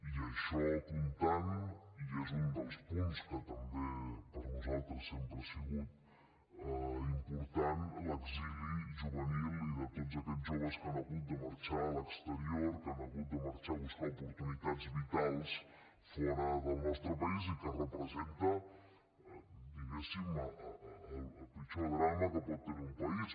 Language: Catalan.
i això comptant i és un dels punts que també per nosaltres sempre ha sigut important l’exili juvenil de tots aquests joves que han hagut de marxar a l’exterior que han hagut de marxar a buscar oportunitats vitals fora del nostre país i que representa diguem ne el pitjor drama que pot tenir un país